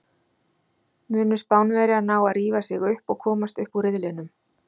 Munu Spánverjar ná að rífa sig upp og komast upp úr riðlinum?